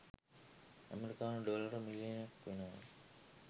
ඇමරිකානු ඩොලර් මිලියන .ක් වෙනවා.